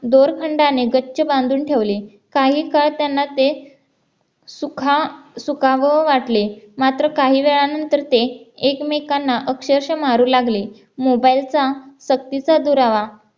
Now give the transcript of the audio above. दोरखंडाने गच्छ बांधून ठेवले काही काळ त्यांना ते सुखा सुखावह वाटले मात्र काही वेळानंतर ते एकमेकांना अक्षरश मारू लागले mobile चा सक्तीचा दुरावा